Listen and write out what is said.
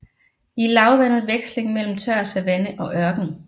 I lavlandet veksling mellem tør savanne og ørken